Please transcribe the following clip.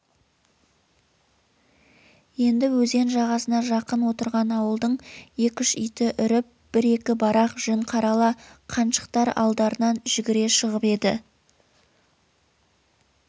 енді өзен жағасына жақын отырған ауылдың екі-үш иті үріп бір-екі барақ жүн қарала қаншықтар алдарынан жүгіре шығып еді